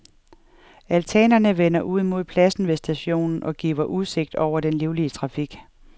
Altanerne vender ud mod pladsen ved stationen og giver udsigt over den livlige trafik.